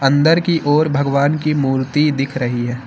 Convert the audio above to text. अंदर की ओर भगवान की मूर्ति दिख रही है।